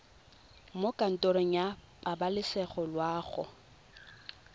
mo kantorong ya pabalesego loago